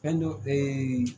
Fɛn do